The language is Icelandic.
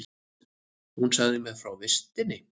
Hún sagði mér frá vistinni.